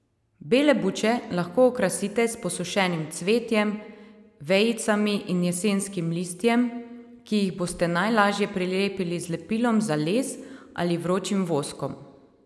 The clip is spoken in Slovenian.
Bele buče lahko okrasite s posušenim cvetjem, vejicami in jesenskim listjem, ki jih boste najlažje prilepili z lepilom za les ali vročim voskom.